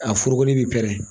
A foroko bi pɛrɛn